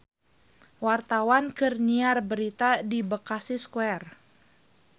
Wartawan keur nyiar berita di Bekasi Square